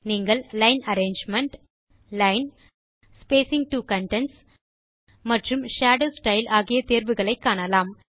நீங்கள் line arrangement line spacing to contents மற்றும் shadow style ஆகிய தேர்வுகளை காணலாம்